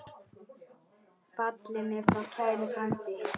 Fallinn er frá kær frændi.